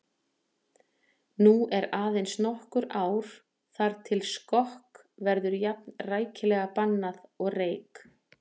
Nú eru aðeins nokkur ár þar til skokk verður jafn rækilega bannað og reyk